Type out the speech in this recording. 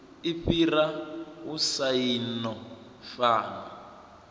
i fhira u saina fomo